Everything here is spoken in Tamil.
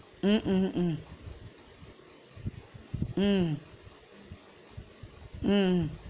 உம் உம் உம் உம் உம்